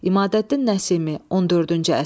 İmadəddin Nəsimi, 14-cü əsr.